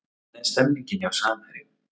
Hvernig er stemningin hjá Samherjum?